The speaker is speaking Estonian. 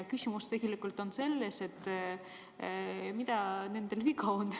Küsimus on tegelikult selles, mis neil viga on.